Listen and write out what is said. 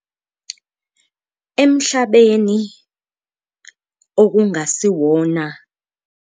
Emhlabeni okungasiwona.